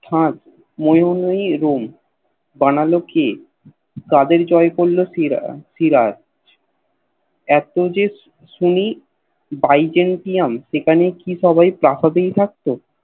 ফাদ মোয়ে মোয় Room বনল কে কাদের জয় করল সিরা সিরাজ এত যে শুনি বাইজেন্টইউম সেখানে কি সবাই প্রসাদেই থাকতো